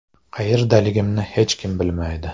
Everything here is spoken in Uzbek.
Qayerdaligimni hech kim bilmaydi.